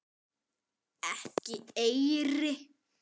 Ekki eyri.